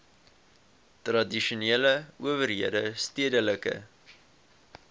tradisionele owerhede stedelike